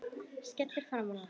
Skellur framan í hann.